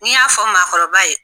Ni n y'a fɔ mɔgɔkɔrɔba ye